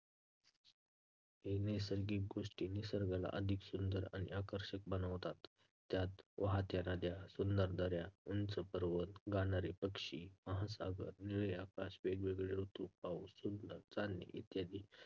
सर्व नैसर्गिक गोष्टी निसर्गाला अधिक सुंदर आणि आकर्षक बनवतात. त्यात वाहत्या नद्या, सुंदर दऱ्या, उंच पर्वत, गाणारे पक्षी, महासागर, निळे आकाश, वेगवेगळे ऋतू, पाऊस, सुंदर चांदणे इत्यादी